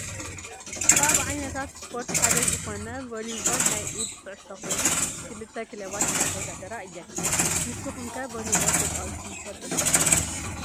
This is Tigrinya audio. ካብ ዓይነታት ስፖርት ሓደ ዝኮነ ቬሊቦል ናይ ኢድ ኩዕሶ ኮይኑ ክልተ ክለባት እንዳተወዳደራ እየን። ንስኩም ከ ቬሊቦል ተፃዊትኩም ትፈልጡ ዶ ?